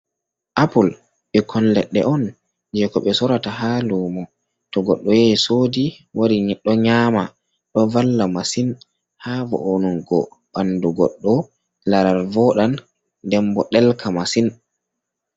Apple ɓikkon leɗɗe on je ko ɓe sorata ha lumo, to goɗɗo yehi sodi wari ɗo nyama ɗo valla masin ha vo’onungo ɓandu goɗɗo, laral vodan den bo ɗelka masin.